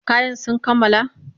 Kayan sun kammala?